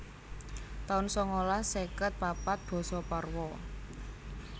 taun sangalas seket papat Basa Parwa